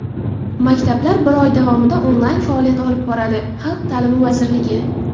Maktablar bir oy davomida onlayn faoliyat olib boradi — Xalq ta’limi vazirligi.